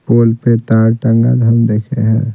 पोल पे तार टंगा हम देखे हैं।